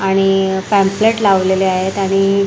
आणि पॅम्प्लेट लावलेले आहेत आणि--